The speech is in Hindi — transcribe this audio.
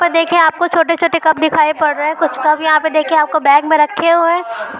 तो देखिए आपको छोटे-छोटे कप दिखाई पड़ रहे हैं। कुछ कप यहाँ पर देखिए आपको बैग में रखे हुए हैं।